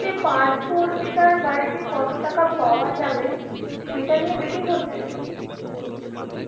যে পার্থ অর্পিতার বাড়িতে কত টাকা পাওয়া যাবে সেটা নিয়ে betting হচ্ছে?